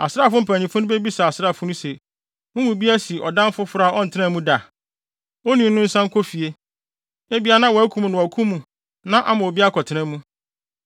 Asraafo mpanyimfo no bebisa asraafo no se, “Mo mu bi asi ɔdan foforo a ɔntenaa mu da? Onii no nsan nkɔ fie! Ebia na wɔakum no wɔ ɔko no mu na ama obi akɔtena mu.